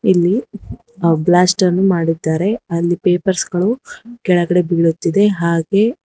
ಇಲ್ಲಿ ಬ್ಲಾಸ್ಟ್ ಅನ್ನು ಮಾಡಿದ್ದಾರೆ ಅಲ್ಲಿ ಪೇಪರ್ಸ್ ಗಳು ಕೆಳಗಡೆ ಬೀಳುತ್ತಿದೆ ಹಾಗೆ--